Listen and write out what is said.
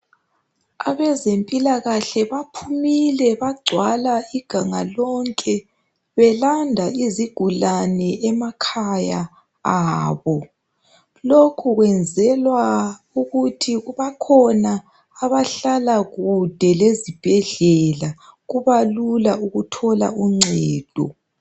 Abezempilakahle baphumile bagcwala iganga lonke belanda izigulane emakhaya abo lokhu kwenzelwa ukuthi bakhona abahlala kudke lezibhedlela kuba lula ukuthola uncedo.